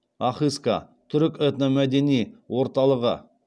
ахыска түрік этномәдени орталығы